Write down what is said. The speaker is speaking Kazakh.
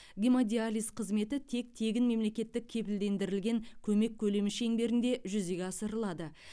гемодиализ қызметі тек тегін мемлекеттік кепілдендірілген көмек көлемі шеңберінде жүзеге асырылады